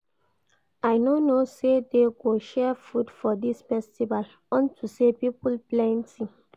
I no know say dey go share food for dis festival unto say people plenty